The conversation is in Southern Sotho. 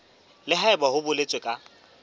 le haebe ho boletswe ka